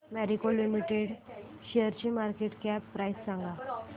Marico limited शेअरची market cap price सांगा